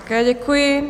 Také děkuji.